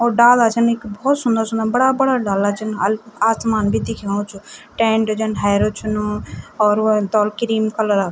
और डाला छन इख भोत सुन्दर सुन्दर बड़ा बड़ा डाला छन अल आसमान भी दिखेणु च टेंट जन हैरू छनु और वोक तौल क्रीम कलरा ।